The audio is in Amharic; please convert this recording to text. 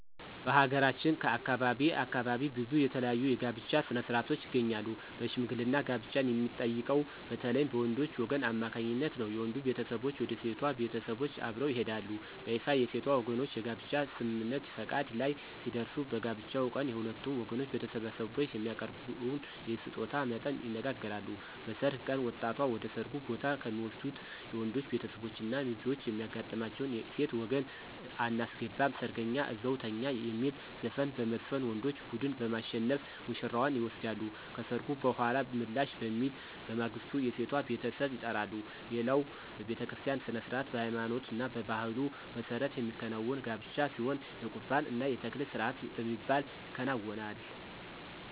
በሀገራችን ከአካባቢ አካባቢ ብዙ የተለያዩ የጋብቻ ሥነ-ሥርዓቶች ይገኛሉ በሽምግልና ጋብቻን የሚጠይቀው በተለይም በወንዶች ወገን አማካኝነት ነው። የወንዱ ቤተሰቦች ወደ ሴቷ ቤተሰቦች አብረው ይሄዳሉ። በይፋ የሴቷ ወገኖች የጋብቻ ስምምነት(ፈቃድ) ላይ ሲደርሱ በጋብቻው ቀን የሁለቱም ወገኖች በተሰበሰቡበት የሚያቀርበውን የስጦታ መጠን ይነጋገራሉ። በሰርግ ቀን ወጣቷን ወደ ሰርጉ ቦታ ከሚወስዱት የወንዶች ቤተሰቦች እና ሚዜዎች የሚያጋጥማቸው የሴት ወገን *አናስገባም ሰርገኛ እዛው ይተኛ* የሚል ዘፈን በመዝፈን ወንዶች ቡድን በማሸነፍ ውሽራዋን ይወስዳሉ። ከሰርጉ በኃላ ምላሽ በሚል በማግስቱ የሴቷ ቤተሰብ ይጠራሉ። ሌላው በቤተክርስቲያ ሥነ-ሥርዓት በሃይማኖትና በባህሉ መሠረት የሚከናወን ጋብቻ ሲሆን የቁርባን እና የተክሊል ስርአት በሚባል ይከናወናል።